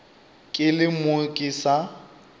ke le mo ke sa